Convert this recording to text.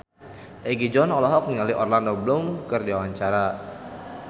Egi John olohok ningali Orlando Bloom keur diwawancara